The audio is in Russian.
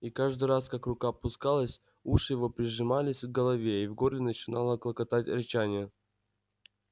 и каждый раз как рука опускалась уши его прижимались к голове и в горле начинало клокотать рычание